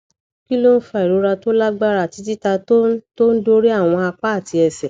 kí ló ń fa ìrora tó lágbára àti titá tó ń tó ń dorí àwọn apá àti ẹsẹ